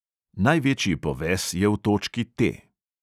Največji poves je v točki T.